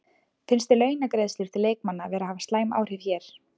Finnst þér launagreiðslur til leikmanna vera að hafa slæm áhrif hér?